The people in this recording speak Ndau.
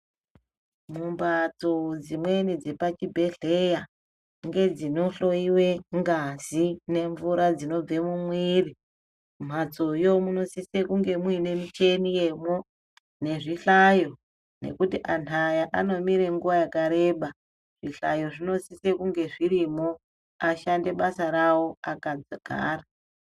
Mumhatso dzimweni dzepachibhedhleya ngedzinohloiwe ngazi nemvura dzinobve mumwiri mhatsoyo munosise kunge muine mucheni yemwo nezvihlayo nekuti antu aya Anomire nguwa yakareba zvihlayo zvi osise kunge zvirimwo ashande basa rawo akagara.